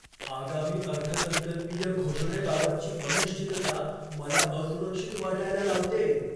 आगामी अर्थसंकल्पीय घोषणेबाबतची अनिश्चितता मला असुरक्षित वाटायला लावतेय.